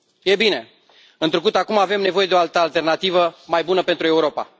E bine, întrucât acum avem nevoie de o altă alternativă, mai bună pentru Europa.